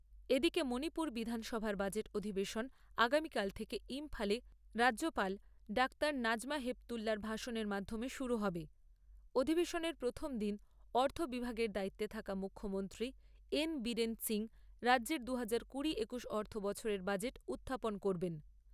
এদিকে মণিপুর বিধানসভার বাজেট অধিবেশন আগামীকাল থেকে রাজ্যপাল ডাক্তার নাজমা হেপতুল্লার ভাষণের মাধ্যমে অধিবেশনের প্রথম দিন অর্থ বিভাগের দায়িত্বে থাকা মুখ্যমন্ত্রী এন বীরেন সিংহ রাজ্যের দুহাজার কুড়ি একুশ অর্থ বছরের বাজেট উত্থাপন করবেন।